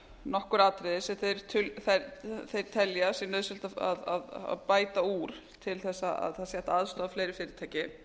nokkur atriði sem þeir telja að sé nauðsynlegt að bæta úr til þess að það sé hægt að aðstoða fleiri fyrirtæki